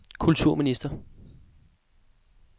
kulturminister